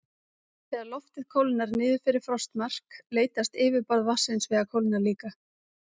Þegar loftið kólnar niður fyrir frostmark leitast yfirborð vatnsins við að kólna líka.